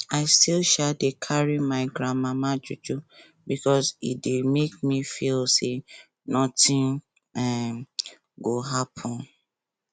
i still um dey carry my gran mama juju because e dey make me feel say nothing um go happen